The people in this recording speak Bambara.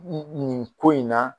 Nin nin ko in na